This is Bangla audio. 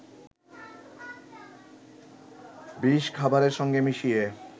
বিষ খাবারের সঙ্গে মিশিয়ে